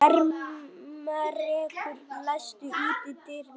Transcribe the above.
Ermenrekur, læstu útidyrunum.